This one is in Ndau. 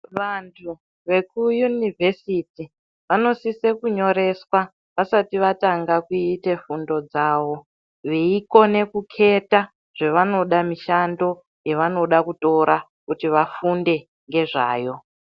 Vanthu vekuyunivhesiti vanosisa kunyoreswa vasati vatanga kuite fundo dzawo veikone kuketa zvavanoda, mishando yevanoda kutora kuti vafunde ngezvayo.